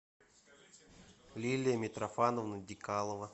лилия митрофановна дикалова